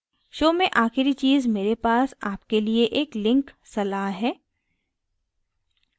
show में आख़िरी चीज़ मेरे पास आपके लिए एक link सलाह है